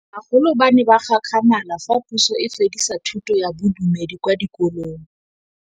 Bagolo ba ne ba gakgamala fa Pusô e fedisa thutô ya Bodumedi kwa dikolong.